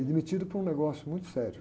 E demitido por um negócio muito sério.